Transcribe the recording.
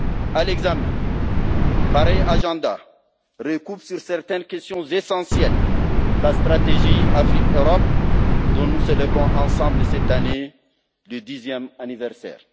À l'examen, pareil agenda recoupe certaines questions essentielles, la stratégie Afrique Europe dont nous célébrons ensemble, cette année, le dixième anniversaire.